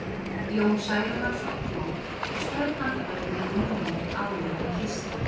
Jón Særúnarson hló og strauk handarbakinu yfir munninn áður en hann kyssti